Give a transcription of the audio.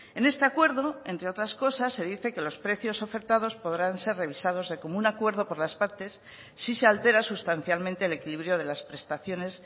en este acuerdo entre otras cosas se dice que los precios ofertados podrán ser revisados de común acuerdo por las partes si se altera sustancialmente el equilibrio de las prestaciones